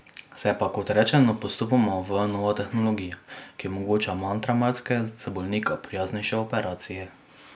Se pa, kot rečeno, postopoma uvaja nova tehnologija, ki omogoča manj travmatske, za bolnika prijaznejše operacije.